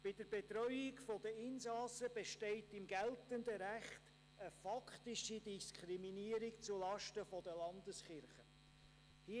Bei der Betreuung der Insassen besteht im geltenden Recht eine faktische Diskriminierung zulasten der Landeskirchen.